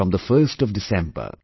from the 1st of December